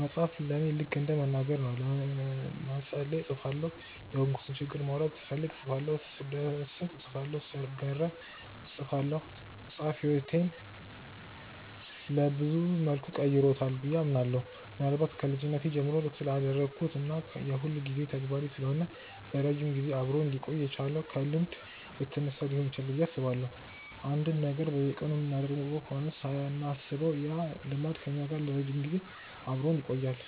መጻፍ ለኔ ልከ እንደ መናገር ነው። ለመጸለይ እጽፋለሁ፤ የሆንኩትን ችግር ማውራት ስፈልግ እጽፋለሁ፤ ስደሰት እጽፋለሁ፤ ስገረም እጽፋለሁ። መጻፍ ህይወቴን ሰብዙ መልኩ ቀርጾታል ብዬ አምናለሁ። ምናልባት ከልጅነቴ ጀምሮ ስላዳበርኩት እና የሁልጊዜ ተግባሬ ስለሆነ ለረጅም ጊዜ አብሮኝ ሊቆይ የቻለው ከልምድ የተነሳ ሊሆን ይችላል ብዬ አስባለሁ። አንድን ነገር በየቀኑ የምናደርገው ከሆነ ሳናስበው ያ ልማድ ከኛ ጋር ለረጅም ጊዜ አብሮን ይቆያል።